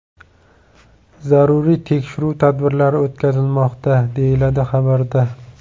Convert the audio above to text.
Zaruriy tekshiruv tadbirlari o‘tkazilmoqda, deyiladi xabarda.